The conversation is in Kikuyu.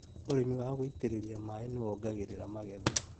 ũrĩmi wa gũitĩrĩria maĩ nĩwongagĩrĩra magetha